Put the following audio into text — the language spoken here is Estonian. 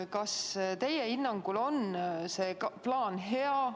Kas teie hinnangul on see plaan hea?